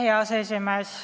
Hea aseesimees!